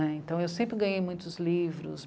Né, então eu sempre ganhei muitos livros.